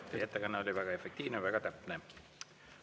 Teie ettekanne oli väga efektiivne, väga täpne.